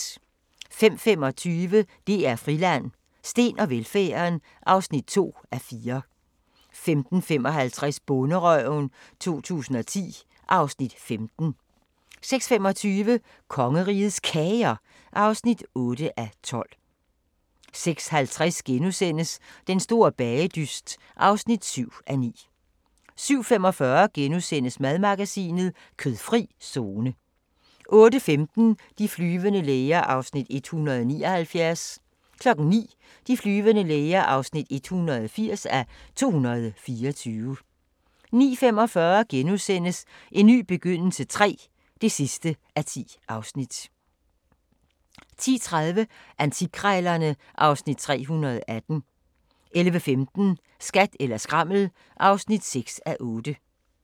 05:25: DR Friland: Steen og velfærden (2:4) 05:55: Bonderøven 2010 (Afs. 15) 06:25: Kongerigets Kager (8:12) 06:50: Den store bagedyst (7:9)* 07:45: Madmagasinet: Kødfri zone * 08:15: De flyvende læger (179:224) 09:00: De flyvende læger (180:224) 09:45: En ny begyndelse III (10:10)* 10:30: Antikkrejlerne (Afs. 318) 11:15: Skat eller skrammel (6:8)